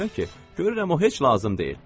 Ona görə ki, görürəm o heç lazım deyil.